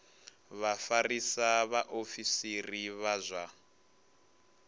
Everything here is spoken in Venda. vha vhafarisa vhaofisiri vha zwa